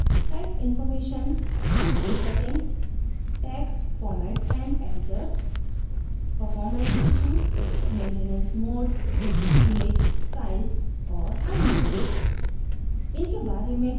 जैसे किsite information account settings text formats and editors performance issues maintenance mode image styles और अन्य